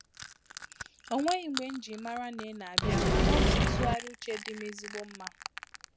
O nweghị mgbe nji mara na ina abịa, mana ọ bụ ntụgharị uche dị m ezigbo mma.